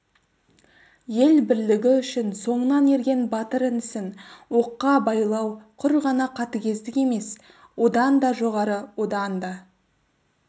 ел бірлігі үшін соңынан ерген батыр інісін оққа байлау құр ғана қатігездік емес одан да жоғары одан да